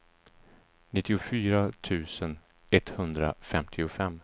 nittiofyra tusen etthundrafemtiofem